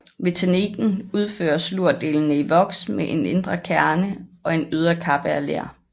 Ved teknikken udføres lurdelene i voks med en indre kerne og en ydre kappe af ler